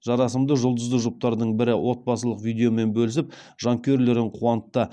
жарасымды жұлдызы жұптардың бірі отбасылық видеомен бөлісіп жанкүйерлерін қуантты